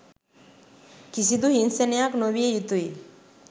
කිසිදු හිංසනයක් නොවිය යුතුයි